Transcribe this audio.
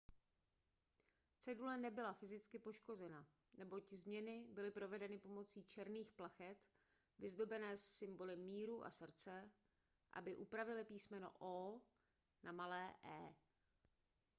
cedule nebyla fyzicky poškozena neboť změny byly provedeny pomocí černých plachet vyzdobené symboly míru a srdce aby upravily písmeno o na malé e